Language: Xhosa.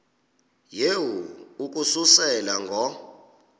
yehu ukususela ngo